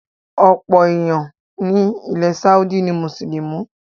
Ọ̀pọ̀ èèyàn ni ilẹ̀ Sáúdí ni Mùsùlùmí